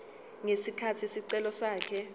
ngesikhathi isicelo sakhe